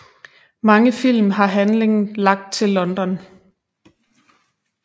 Mange film har handling lagt til London